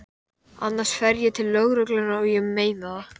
Annars fer ég til lögreglunnar, og ég meina það.